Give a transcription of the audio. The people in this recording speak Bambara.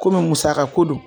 Komi musaka ko don